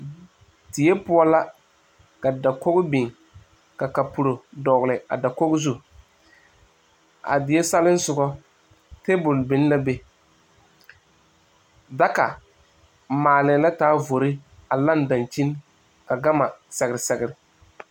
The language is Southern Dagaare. Die poʊ la. Ka dakoge biŋ ka kapulo dogle a dakoge zu. A die salesɔgɔ, tabul biŋ la be. Daka maale na taa vore a laŋ dankyen ka gama a sɛgre sɛgre